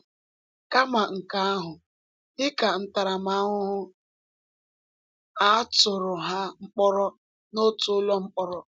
Kama nke ahụ, dị ka ntaramahụhụ, a tụrụ ha mkpọrọ n’otu ụlọ mkpọrọ.